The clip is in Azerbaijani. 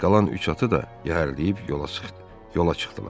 Qalan üç atı da yəhərləyib yola çıxdı, yola çıxdılar.